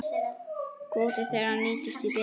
Kvóti þeirra nýtist því betur.